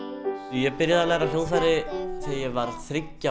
ég byrjaði að læra á hljóðfæri þegar ég var þriggja